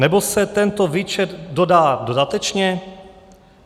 Nebo se tento výčet dodá dodatečně?